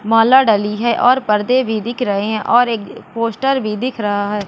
माला डली है और पर्दे भी दिख रहे है और एक पोस्टर भी दिख रहा है।